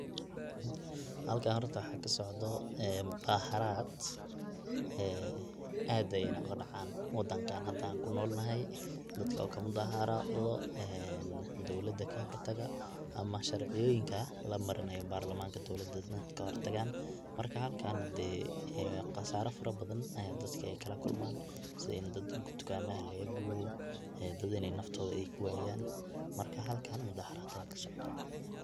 Halkan horto waxa kasocdo mudaharad aad ayeyna ogadacan wadankan an hada kunolnahay, dadka oo kamudaharado ee dowlada kahortaga ama sharciyoyinka lamarinayo barlamanka dowlada dadka kahortagana marka halkan dee qasaro fara badan ayey dadka kalakulman sida in dadka tukamaha lagagubo, dad in ey naftoda kuwayan marka halkan mudaharad aya kasocdo.